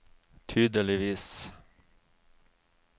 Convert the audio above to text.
tydeligvis